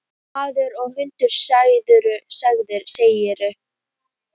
Maður og hundur, segirðu?